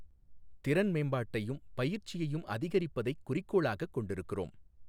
திறன் மேம்பாட்டையும் பயிற்சியைும் அதிகரிப்பதைக் குறிக்கோளாகக் கொண்டிருக்கிறோம்.